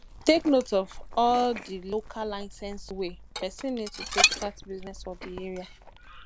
take note of all di local license wey person need to take start business for di area